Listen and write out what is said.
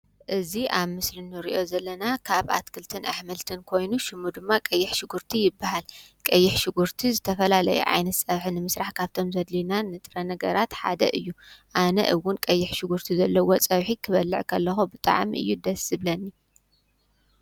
እዚ ኣብ ምስሊ እንሪኦ ዘለና ካብ ኣትክልትን ኣሕምልትን ኮይኑ ሽሙ ድማ ቀይሕ ሽጉርቲ ይብሃል፡፡ ቀይሕ ሽጉርቲ ዝተፈላለየ ዓይነት ፀብሒ ንምስራሕ ካብቶም ዘድልዩና ንጥረ ነገራት ሓደ እዩ፡፡ ኣነ እውን ቀይሕ ሽጉርቲ ዘለዎ ፀብሒ ክበልዕ ከለኩ ብጣዕሚ እዩ ደስ ዝብለኒ፡፡